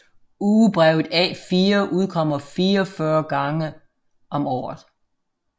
Ugebrevet A4 udkommer 44 uger om året